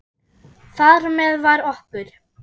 Þar með var okkur